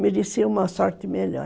Merecia uma sorte melhor.